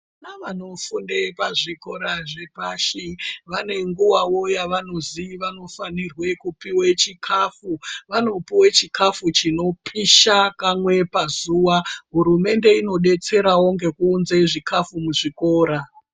Vana vanofunde pazvikora zvepashi vane nguwawo yevanozi vanofanire kupuwe chikhafu. Vanopuwe chikhafu chinopisha kamwe pazuwa. Hurumende inodetserawo ngekuunze zvikhafu muzvikora.